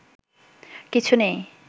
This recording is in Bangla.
কিছু নেই